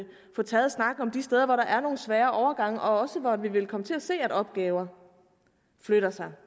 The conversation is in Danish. få taget snakken om de steder hvor der er nogle svære overgange og også hvor vi vil komme til at se at opgaver flytter sig